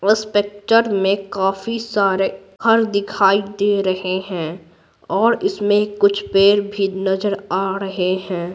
इस पिक्चर में काफी सारे घर दिखाई दे रहे हैं और इसमें कुछ पेड़ भी नजर आ रहे हैं।